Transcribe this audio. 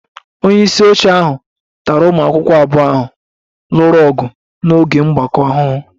Onye isi oche ahụ tara ụmụ akwụkwọ abụọ ahụ lụrụ ọgụ n'oge mgbakọ ahụhụ